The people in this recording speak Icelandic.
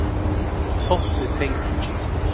Þótt við tengjumst.